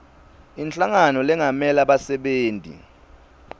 inhlangano lengamela bassebenti